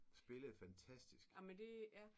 Spillede fantastisk!